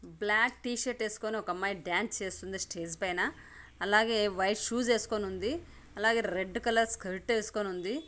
Black T shirt ఏసుకొని ఒకమ్మాయి dance చేస్తుంది స్టేజ్ పైన అలాగే వైట్ షూస్ వేసుకొనుంది అలాగే రెడ్ కలర్ స్కర్ట్ వేసుకొనుంది.